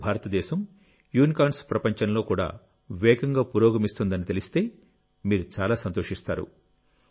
ఇప్పుడు భారతదేశం యునికార్న్స్ ప్రపంచంలో కూడా వేగంగా పురోగమిస్తుందని తెలిస్తే మీరు చాలా సంతోషిస్తారు